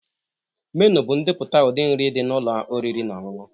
Menu bụ ndepụta ụdị nri dị na ụlọ oriri na ọṅụṅụ